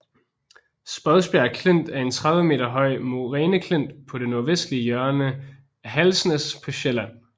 Spodsbjerg Klint er en 30 meter høj moræneklint på det nordvestlige hjørne af Halsnæs på Sjælland